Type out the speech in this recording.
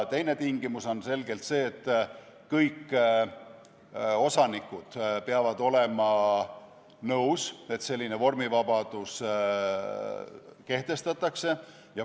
Teine tingimus on selgelt see, et kõik osanikud peavad olema nõus, et selline vormivabadus kehtestatakse.